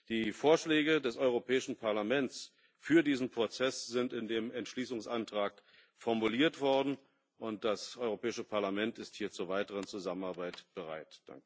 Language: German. Die Vorschläge des Europäischen Parlaments für diesen Prozess sind in dem Entschließungsantrag formuliert worden, und das Europäische Parlament ist hier zur weiteren Zusammenarbeit bereit.